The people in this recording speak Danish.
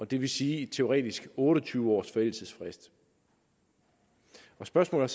det vil sige teoretisk set otte og tyve års forældelsesfrist spørgsmålet